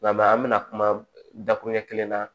Nka an bɛna kuma dakuru ɲɛ kelen na